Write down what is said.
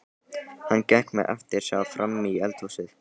Hann gekk með eftirsjá frammí eldhúsið.